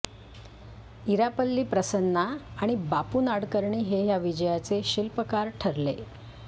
इरापल्ली प्रसन्ना आणि बापू नाडकर्णी हे या विजयाचे शिल्पकार ठरले